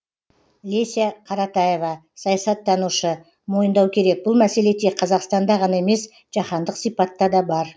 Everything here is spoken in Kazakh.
леся каратаева саясаттанушы мойындау керек бұл мәселе тек қазақстанда ғана емес жаһандық сипатта да бар